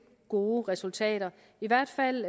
gode resultater i hvert fald